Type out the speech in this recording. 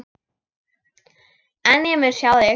En ég mun sjá þig.